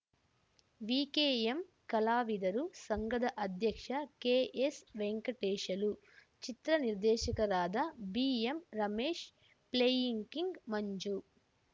VKM ಕಲಾವಿದರು ಸಂಘದ ಅಧ್ಯಕ್ಷ ಕೆಎಸ್ವೆಂಕಟೇಶಲು ಚಿತ್ರ ನಿರ್ದೇಶಕರಾದ ಬಿಎಂರಮೇಶ್ ಪ್ಲೇಯಿಂಗ್ ಕಿಂಗ್ ಮಂಜು